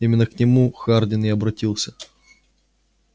именно к нему хардин и обратился